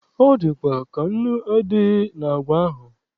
Ọ dịkwa ka nnu adịghị na àgwà ahụ.